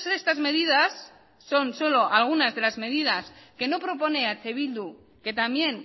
estas medidas son solo algunas de las medidas que no propone eh bildu que también